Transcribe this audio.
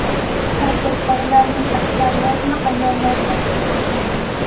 Tadbirkorlarning aksariyatini ayollar tashkil etadi.